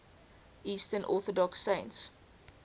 eastern orthodox saints